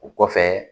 O kɔfɛ